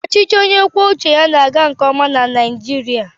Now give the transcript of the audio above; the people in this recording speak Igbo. Ọchịchị onye kwue uche ya na-aga nke ọma na Naịjirịa.